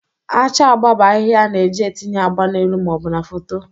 Acha agba bụ ahịhịa a na-eji etinye agba n'elu ma ọ bụ na foto.